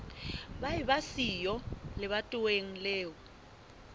ba eba siyo lebatoweng leo